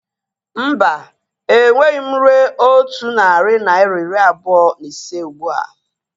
Mba, enweghị m rue otu narị naira iri abụọ na ise ụgbụa